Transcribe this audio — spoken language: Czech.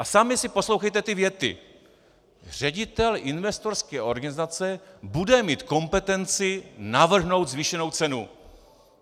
A sami si poslouchejte ty věty: "Ředitel investorské organizace bude mít kompetenci navrhnout zvýšenou cenu."